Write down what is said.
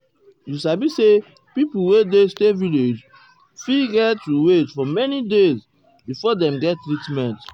you sabi say pipo wey dey stay village fit get to wait for many days before dem get treatment.